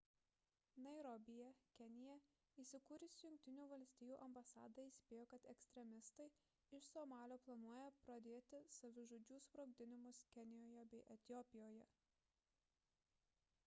nairobyje kenija įsikūrusi jungtinių valstijų ambasada įspėjo kad ekstremistai iš somalio planuoja pradėti savižudžių sprogdinimus kenijoje bei etiopijoje